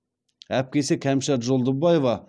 әпкесі кәмшат жолдыбаева